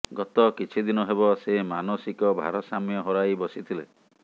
ଗତ କିଛି ଦିନ ହେବ ସେ ମାନସିକ ଭାରସାମ୍ୟ ହରାଇ ବସିଥିଲେ